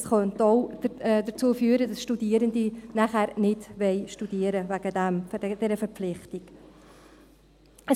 Es könnte auch dazu führen, dass Studierende nachher deswegen, wegen dieser Verpflichtung, nicht studieren.